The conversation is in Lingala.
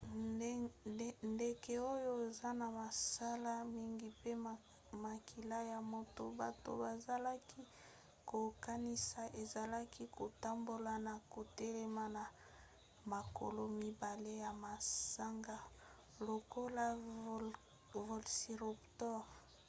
ndeke oyo eza na masala mingi pe makila ya moto bato bazalaki kokanisa ezalaki kotambola ya kotelema na makolo mibale na manzaka lokola velociraptor